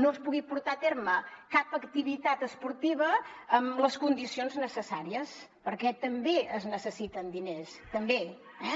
no es pugui portar a terme cap activitat esportiva amb les condicions necessàries perquè també es necessiten diners també eh